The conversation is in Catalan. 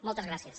moltes gràcies